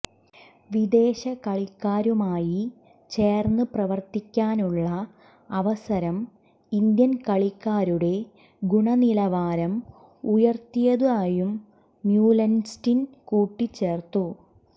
വിദേശകളിക്കാരുമായി ചേർന്ന് പ്രവർത്തിക്കാനുള്ള അവസരം ഇന്ത്യൻ കളിക്കാരുടെ ഗുണനിലവാരം ഉയർത്തിയതായും മ്യുലൻസ്റ്റിൻ കൂട്ടിച്ചേർത്തു